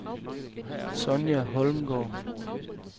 Sonja Holmgaard